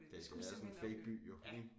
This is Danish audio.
Det er sådan en fake by jo ik